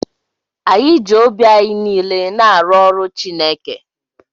Anyị ji obi anyị niile na-arụ ọrụ Chineke.